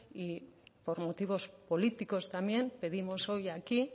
y por motivos políticos también pedimos hoy aquí